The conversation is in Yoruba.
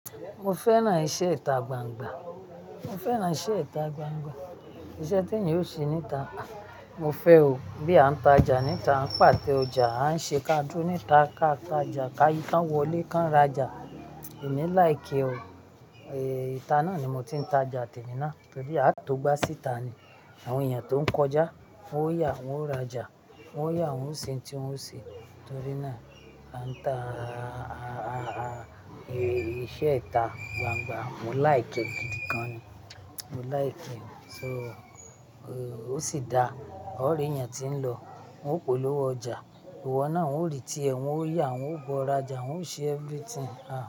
Mo fẹ́ràn iṣẹ́ ìta gbangba. Mo fẹ́ràn iṣẹ́ ìta gbangba. Iṣẹ́ tí ẹyàn ó ṣe ní ìta, mo fẹ́ o. Bí a ń ta ọjà ní ìta, a ń pàte ọjà, a ń ṣe káàdì ní ìta, ká ta ọjà, ká yíká, ká wọlé, ká ra ọjà. Èmi like ee o. Ìta náà ni mo ti ń ta ọjà tẹ́mi ná. Torí àì tó gbà sí ìta ni àwọn èèyàn tó ń kọjá, wọ́n yà wọ́n ó ra ọjà, wọ́n yà wọ́n ó sin tí wọ́n ó ṣe. Torí náà, à ń ta, iṣẹ́ ìta gbangba, mo like gidi gan ni. Mo like e. So, o sì dáá, ó rí ẹyàn tí ń lọ, wọn ó polówó ọjà. Ìwọ náà wọn rí i tí ẹ, wọn ó yà wọ́n ó bọ ra ọjà, wọn ó ṣe everything ah.